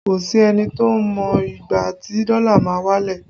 Kò sí ẹni tó mọ ìgbà tí dọ́là máa wálẹ̀